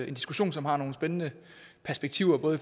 en diskussion som har nogle spændende perspektiver både